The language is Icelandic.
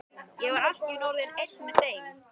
Ég var allt í einu orðinn einn með þeim.